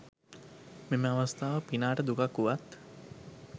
මෙම අවස්ථාව පිනාට දුකක් වුවත්